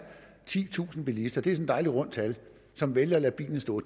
titusind bilister det et dejligt rundt tal som vælger at lade bilen stå